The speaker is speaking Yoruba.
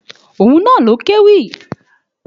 Òun na ló kéwì.